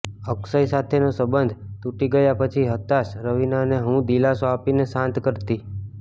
અક્ષય સાથેનો સંબંધ તૂટી ગયા પછી હતાશ રવીનાને હું દિલાસો આપીને શાંત કરતી